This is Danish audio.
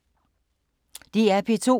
DR P2